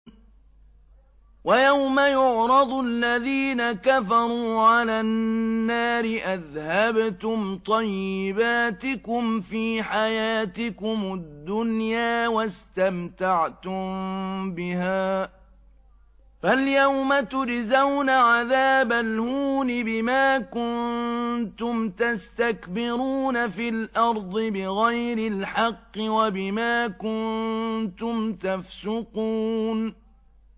وَيَوْمَ يُعْرَضُ الَّذِينَ كَفَرُوا عَلَى النَّارِ أَذْهَبْتُمْ طَيِّبَاتِكُمْ فِي حَيَاتِكُمُ الدُّنْيَا وَاسْتَمْتَعْتُم بِهَا فَالْيَوْمَ تُجْزَوْنَ عَذَابَ الْهُونِ بِمَا كُنتُمْ تَسْتَكْبِرُونَ فِي الْأَرْضِ بِغَيْرِ الْحَقِّ وَبِمَا كُنتُمْ تَفْسُقُونَ